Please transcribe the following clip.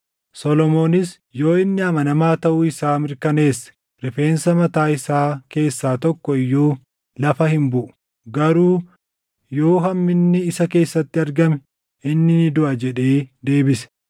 Solomoonis, “Yoo inni amanamaa taʼuu isaa mirkaneesse rifeensa mataa isaa keessaa tokko iyyuu lafa hin buʼu; garuu yoo hamminni isa keessatti argame inni ni duʼa” jedhee deebise.